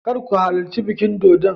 Kar ku halarci bikin dodon.